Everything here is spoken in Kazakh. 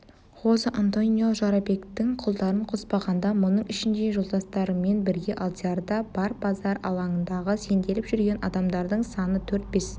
хозе-антонио жорабектің құлдарын қоспағанда мұның ішінде жолдастарымен бірге алдияр да бар базар алаңындағы сенделіп жүрген адамдардың саны төрт-бес